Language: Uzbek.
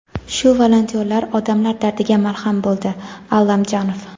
shu volontyorlar odamlar dardiga malham bo‘ldi – Allamjonov.